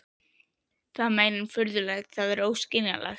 Það er meira en furðulegt, það er óskiljanlegt.